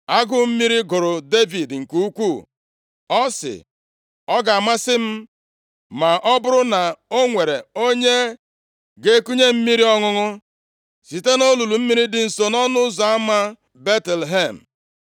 Agụụ mmiri gụrụ Devid nke ukwuu. Ọ sị, “Ọ ga-amasị m ma ọ bụrụ na o nwere onye ga-ekunye m mmiri ọṅụṅụ, site nʼolulu mmiri dị nso nʼọnụ ụzọ ama Betlehem!”